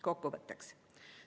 Kokkuvõtteks.